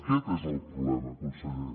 aquest és el problema conseller